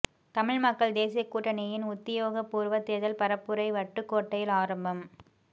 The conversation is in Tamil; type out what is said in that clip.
தமிழ் மக்கள் தேசிய கூட்டணியின் உத்தியோகபூர்வ தேர்தல் பரப்புரை வட்டுக்கோட்டையில் ஆரம்பம்